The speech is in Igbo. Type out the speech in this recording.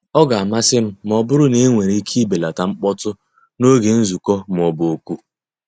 Ọ ga-amasị m ma ọ bụrụ na enwere ike ibelata mkpọtụ n'oge nzukọ ma ọ bụ oku.